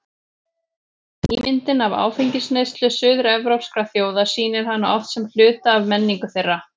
Ímyndin af áfengisneyslu suður-evrópskra þjóða sýnir hana oft sem hluta af menningu þeirra.